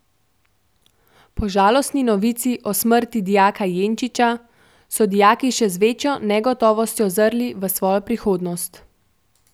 Po žalostni novici o smrti dijaka Jenčiča so dijaki še z večjo negotovostjo zrli v svojo prihodnost.